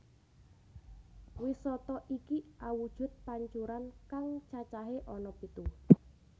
Wisata iki awujud pancuran kang cacahé ana pitu